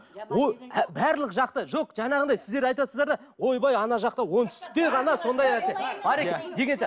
барлық жақта жоқ жаңағындай сіздер айтыватырсыздар да ойбай ана жақта оңтүстікте ғана сондай нәрсе бар екен деген